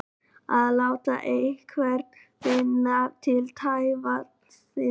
Að láta einhvern finna til tevatnsins